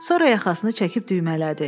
Sonra yaxasını çəkib düymələdi.